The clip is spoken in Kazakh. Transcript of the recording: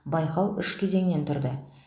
байқау үш кезеңнен тұрды